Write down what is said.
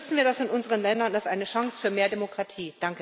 Nutzen wir das in unseren Ländern als eine Chance für mehr Demokratie!